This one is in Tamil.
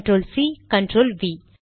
control C control we